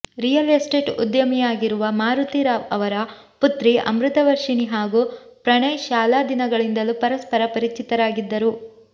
real estate ಉದ್ಯಮಿಯಾಗಿರುವ ಮಾರುತಿ ರಾವ್ ಅವರ ಪುತ್ರಿ ಅಮೃತವರ್ಷಿಣಿ ಹಾಗೂ ಪ್ರಣಯ್ ಶಾಲಾ ದಿನಗಳಿಂದಲೂ ಪರಸ್ಪರ ಪರಿಚಿತರಾಗಿದ್ದರು